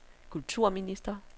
kulturminister